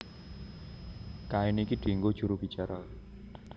Kain iki dienggo juru bicara